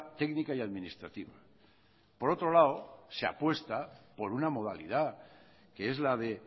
técnica y administrativa por otro lado se apuesta por una modalidad que es la de